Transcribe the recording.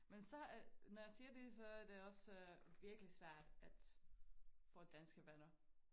Men så øh når jeg siger det så er det også virkelig svært at få danske venner